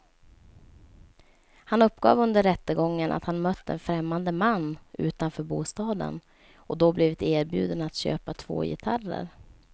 Han uppgav under rättegången att han mött en främmande man utanför bostaden och då blivit erbjuden att köpa två gitarrer.